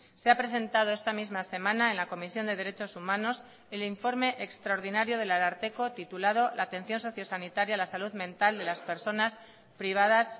se ha presentado esta misma semana en la comisión de derechos humanos el informe extraordinario del ararteko titulado la atención sociosanitaria la salud mental de las personas privadas